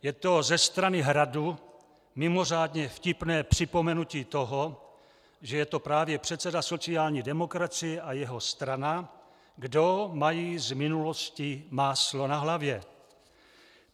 Je to ze strany Hradu mimořádně vtipné připomenutí toho, že je to právě předseda sociální demokracie a jeho strana, kdo mají z minulosti máslo na hlavě.